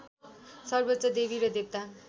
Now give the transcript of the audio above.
सर्वोच्च देवी र देवता